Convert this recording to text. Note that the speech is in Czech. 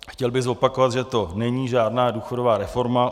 Chtěl bych zopakovat, že to není žádná důchodová reforma.